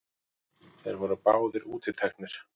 Þeir voru báðir útiteknir.